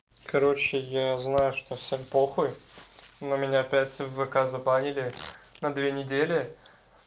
короче я знаю что всем похуй но меня опять в вк забанили на две недели